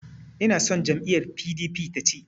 Inason jam'iyyar PDP ta ci.